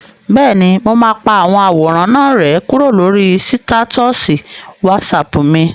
Bẹ́ẹ̀ni, mo máa pa àwọn àwòrán náà rẹ́ kúrò lórí sítátọ̀sì wásaàpù mi